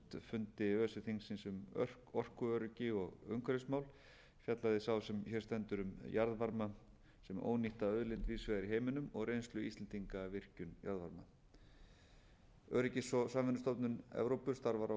um orkuöryggi og umhverfismál fjallaði sá sem hér stendur um jarðvarma sem ónýtta auðlind víðs vegar í heiminum og reynslu íslendinga af virkjun jarðvarma öryggis og samvinnustofnun evrópu starfar á